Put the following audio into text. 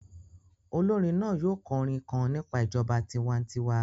Olorin naa yoo kọ orin kan nipa ijọba tiwantiwa